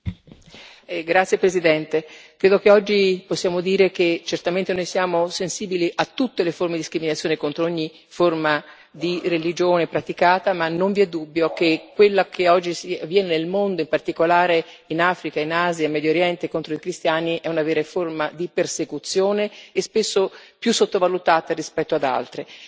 Signor Presidente, onorevoli colleghi, credo che oggi possiamo dire che certamente noi siamo sensibili a tutte le forme di discriminazione contro ogni forma di religione praticata, ma non vi è dubbio che quella che oggi avviene nel mondo, in particolare in Africa, in Asia e in Medio Oriente, contro i cristiani è una vera forma di persecuzione, che spesso è più sottovalutata rispetto ad altre.